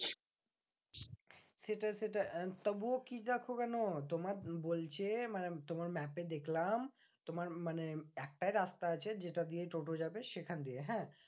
সেটা সেটা তবুও তোমার বলছে, মানে তোমার map এ দেখলাম তোমার মানে একটাই রাস্তা আছে যেটা দিয়ে টোটো যাবে সেখান দিয়ে হ্যাঁ?